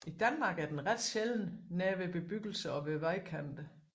I Danmark er den ret sjælden nær bebyggelse og ved vejkanter